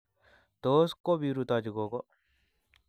Tos kobirutochi gogo?